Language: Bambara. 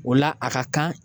O la a ka kan